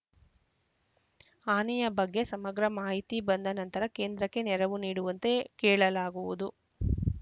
ಹಾನಿಯ ಬಗ್ಗೆ ಸಮಗ್ರ ಮಾಹಿತಿ ಬಂದ ನಂತರ ಕೇಂದ್ರಕ್ಕೆ ನೆರವು ನೀಡುವಂತೆ ಕೇಳಲಾಗುವುದು